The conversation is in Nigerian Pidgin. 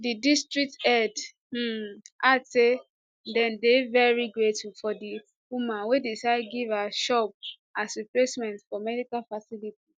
di district head um add say dem dey veri grateful for di woman wey decide give her shops as replacement of medical facility